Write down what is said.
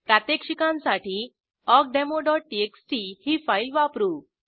प्रात्यक्षिकांसाठी awkdemoटीएक्सटी ही फाईल वापरू